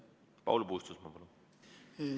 Paul Puustusmaa, palun!